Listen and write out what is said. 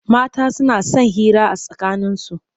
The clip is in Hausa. Mata suna son hira a tsakaninsu.